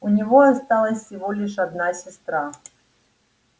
у него осталась всего лишь одна сестра